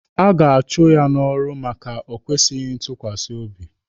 A ga-achụ ya n'ọrụ maka o kwesịghị ntukwasi obi.